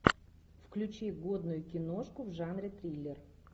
включи годную киношку в жанре триллер